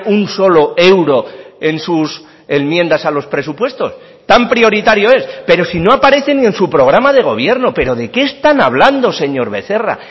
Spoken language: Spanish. un solo euro en sus enmiendas a los presupuestos tan prioritario es pero si no aparecen ni en su programa de gobierno pero de qué están hablando señor becerra